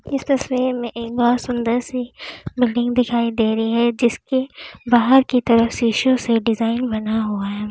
इस तस्वीर में एक बहोत सुंदर सी बिल्डिंग दिखाई दे रही है जिसकी बाहर की तरफ शिशो से डिजाइन बना हुआ है।